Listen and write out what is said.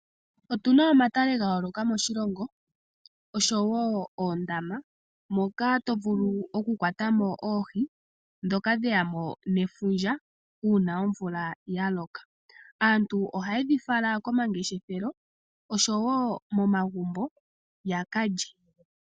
Otu na omatale ga yooloka moshilongo osho wo oondama moka tovulu okukwata mo oohi ndhoka dheya mo nefundja uuna omvula ya loka. Aantu ohaye dhi fala komangeshefelo osho wo momagumbo ya ka lye .